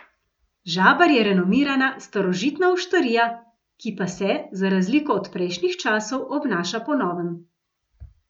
Žabar je renomirana, starožitna oštarija, ki pa se, za razliko od prejšnjih časov, obnaša po novem.